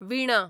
विणा